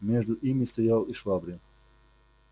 между ими стоял и швабрин